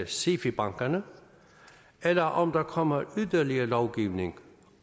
sifi bankerne eller om der kommer yderligere lovgivning